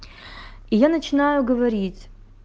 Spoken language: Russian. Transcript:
я начинаю говорить